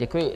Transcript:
Děkuji.